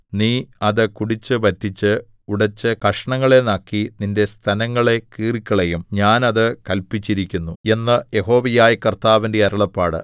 നീ അത് കുടിച്ചു വറ്റിച്ച് ഉടച്ച് കഷണങ്ങളെ നക്കി നിന്റെ സ്തനങ്ങളെ കീറിക്കളയും ഞാൻ അത് കല്പിച്ചിരിക്കുന്നു എന്ന് യഹോവയായ കർത്താവിന്റെ അരുളപ്പാട്